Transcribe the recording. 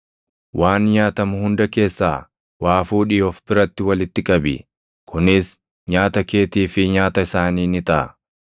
Waan nyaatamu hunda keessaa waa fuudhii of biratti walitti qabi! Kunis nyaata keetii fi nyaata isaanii ni taʼa.”